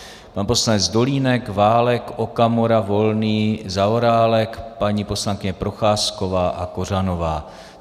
Pan poslanec Dolínek, Válek, Okamura, Volný, Zaorálek, paní poslankyně Procházková a Kořanová.